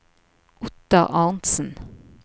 Ottar Arntsen